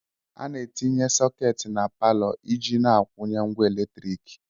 A na-etinye sọketi na palọ iji na-akwụnye ngwa eletrik.